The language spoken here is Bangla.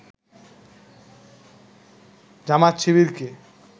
জামায়াত-শিবিরকে